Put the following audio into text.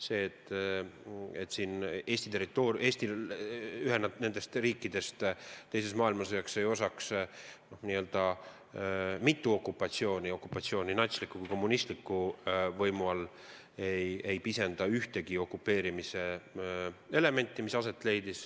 See, et Eestile ühena nendest riikidest sai teises maailmasõjas osaks n-ö mitu okupatsiooni, okupatsioon nii natsliku kui ka kommunistliku võimu all, ei pisenda ühtegi aset leidnud okupeerimise elementi.